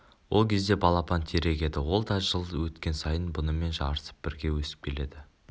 ол кезде балапан терек еді ол да жыл өткен сайын бұнымен жарысып бірге өсіп келеді